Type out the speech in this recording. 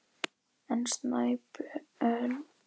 En Sæmundur var enn á varðbergi.